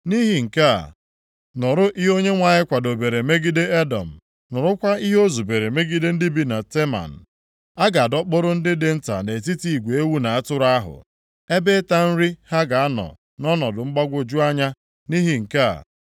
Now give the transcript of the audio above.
Nʼihi nke a, nụrụ ihe Onyenwe anyị kwadobere megide Edọm, nụrụkwa ihe o zubere megide ndị bi na Teman. A ga-adọkpụrụ ndị dị nta nʼetiti igwe ewu na atụrụ ahụ, ebe ịta nri ha ga-anọ nʼọnọdụ mgbagwoju anya nʼihi nke a.